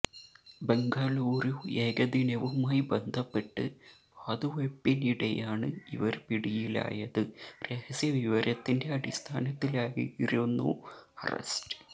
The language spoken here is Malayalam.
ബംഗളുരു ഏകദിനവുമായി ബന്ധപ്പെട്ട് വാതുവയ്പിനിടെയാണ് ഇവര് പിടിയിലായത് രഹസ്യവിവരത്തിന്റെ അടിസ്ഥാനത്തിലായിരുന്നു അറസ്റ്റ്